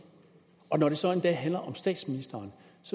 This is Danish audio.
og når det så endda handler om statsministeren